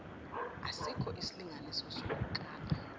asikho isilinganiso sokukala